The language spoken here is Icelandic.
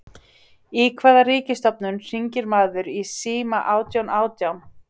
Í hvaða ríkisstofnun hringir maður í síma átján átján?